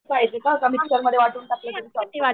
कमीत कमी वाटून टाकली तरी चालेलं.